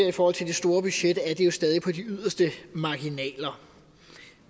i forhold til det store budget er det jo stadig på de yderste marginaler